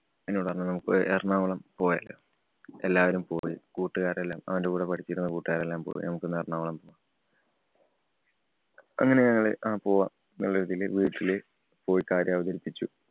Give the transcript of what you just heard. എന്നോട് പറഞ്ഞു. നമ്മക്ക് എറണാകുളം പോയാലോ. എല്ലാവരും പോയി. കൂട്ടുലാരെല്ലാം അവന്‍റെ കൂടെ പഠിച്ചിരുന്ന കൂട്ടുകാരെല്ലാം പോയി. നമുക്കൊന്ന് എറണാകുളം പോവാം അങ്ങനെ ഞങ്ങള് ആ പോവാം എന്ന രീതിയില് വീട്ടില് പോയി കാര്യം അവതരിപ്പിച്ചു.